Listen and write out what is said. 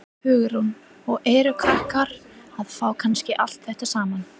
Hugrún: Og eru krakkar að fá kannski allt þetta saman?